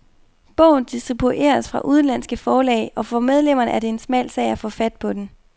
Bogen distribueres fra udenlandske forlag, og for de medlemmerne er det en smal sag at få fat på den.